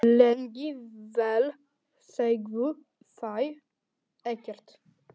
Lengi vel sögðu þau ekkert.